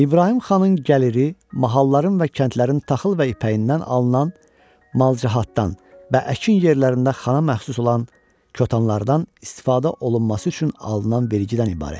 İbrahim xanın gəliri mahalların və kəndlərin taxıl və ipəyindən alınan malcahatdan və əkin yerlərində xana məxsus olan kətanlardan istifadə olunması üçün alınan vergiddən ibarət idi.